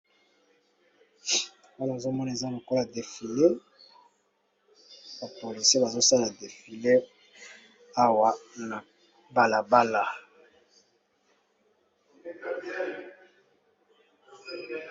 Awa nazo mona eza lokolo defile. Ba polisi bazo sala defile awa na balabala.